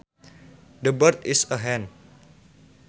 That bird is a hen